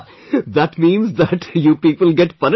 laughing That means that you people get